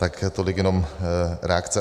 Tak tolik jenom reakce.